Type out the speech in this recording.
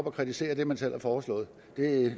at kritisere det man selv har foreslået